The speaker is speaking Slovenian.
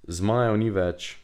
Zmajev ni več.